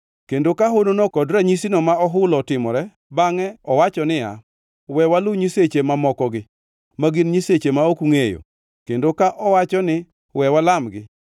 kendo ka honono kod ranyisino ma ohulo otimore bangʼe owacho niya, “We walu nyiseche mamokogi (ma gin nyiseche ma ok ungʼeyo) kendo ka owacho ni we walamgi,”